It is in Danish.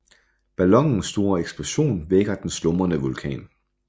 Ballonens store eksplosion vækker den slumrende vulkan